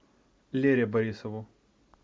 лере борисову